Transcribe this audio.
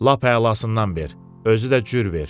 Lap əlasından ver, özü də cür ver.